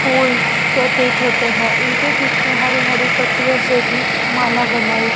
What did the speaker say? फूल प्रतीत होते हैं इनके बीच में हरी हरी पत्तियों से भी माला बनाई--